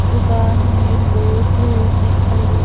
दुकान में लोग दिखाई दे --